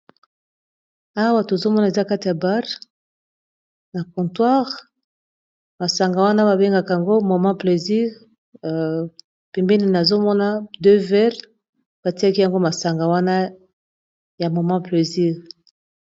Awa tozomona eza katia ya barre na contoire masanga wana babengaka yango moman plésire pembenene azomona 2 verle batiaki yango masanga wana ya momant plésire